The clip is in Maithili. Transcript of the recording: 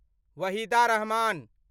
वहीदा रहमान